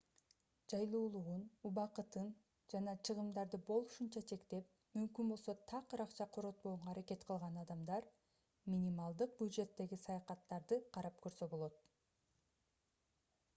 жайлуулугун убакытын жана чыгымдарды болушунча чектеп мүмкүн болсо такыр акча коротпогонго аракет кылган адамдар минималдык бюджеттеги саякаттарды карап көрсө болот